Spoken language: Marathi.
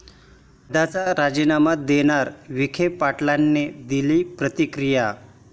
पदाचा राजीनामा देणार? विखे पाटलांनी दिली प्रतिक्रिया